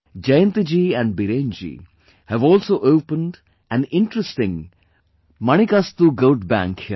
Jayanti ji and Biren ji have also opened an interesting Manikastu Goat Bank here